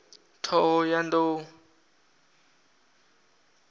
ṱhohoyanḓou